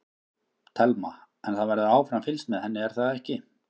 Telma: En það verður áfram fylgst með henni er það ekki?